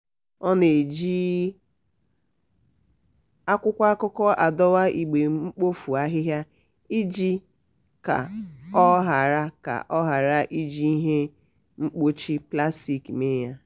ọ na-eji akwụkwọ akụkọ adọwa igbe mkpofu ahịhịa iji ka ọ ghara ka ọ ghara iji ihe mkpuchi plastik mee ya.